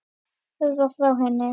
Hörfar frá henni.